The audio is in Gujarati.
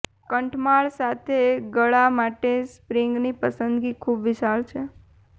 કંઠમાળ સાથે ગળા માટે સ્પ્રેની પસંદગી ખૂબ વિશાળ છે